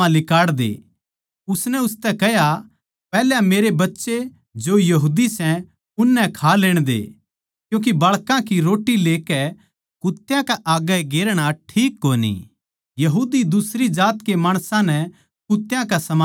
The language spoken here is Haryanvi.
उसनै उसतै कह्या पैहल्या मेरे बच्चें जो यहूदी सै उननै खा लेण दे क्यूँके बाळकां की रोट्टी लेकै कुत्यां कै आग्गै गेरना ठीक कोनी यहूदी दुसरी जात के माणसां नै कुत्यां कै समान समझै थे